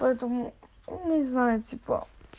поэтому ну не знаю типа